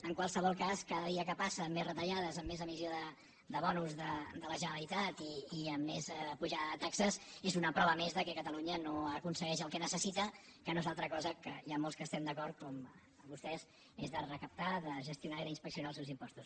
en qualsevol cas cada dia que passa amb més retallades amb més emissió de bons de la generalitat i amb més pujada de taxes és una prova més que catalunya no aconsegueix el que necessita que no és una altra cosa que n’hi ha molts que hi estem d’acord com vostès recaptar gestionar i inspeccionar els seus impostos